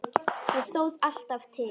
Það stóð alltaf til.